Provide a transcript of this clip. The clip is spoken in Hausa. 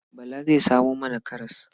Bala zai samo mana karas.